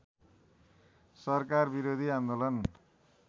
सरकार विरोधी आन्दोलन